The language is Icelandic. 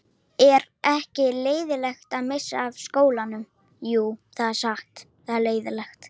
Er ekki leiðinlegt að missa af skólanum?